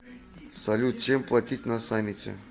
салют чем платить на самете